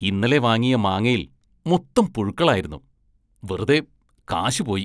ഇന്നലെ വാങ്ങിയ മാങ്ങയില്‍ മൊത്തം പുഴുക്കളായിരുന്നു, വെറുതെ കാശ് പോയി.